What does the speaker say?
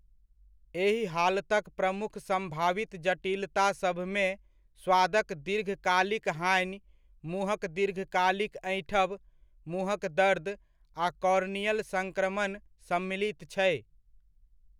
एहि हालतक प्रमुख सम्भावित जटिलतासभमे स्वादक दीर्घकालिक हानि, मुँहक दीर्घकालिक ऐँठब, मुँहक दर्द आ कॉर्नियल सङ्क्रमण सम्मिलित छै।